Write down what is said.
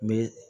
N bɛ